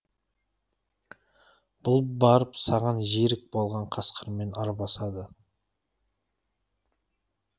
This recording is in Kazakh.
бұл барып саған жерік болған қасқырмен арбасады